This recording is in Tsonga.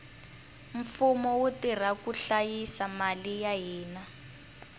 mfumo wu tirha ku hlayisa mali ya hina